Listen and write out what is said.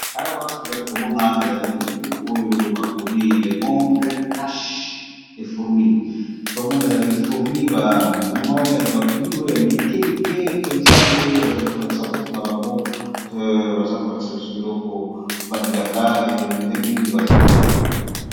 Awa namoni balakisi biso mwa buku ya kotanga oyo bakomi le monde cashe les fourmis tomoni eza banyama oyo ya mike mike